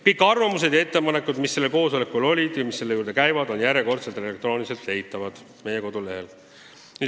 Kõik arvamused ja ettepanekud, mis sellel koosolekul kõlasid, on elektrooniliselt leitavad meie kodulehelt.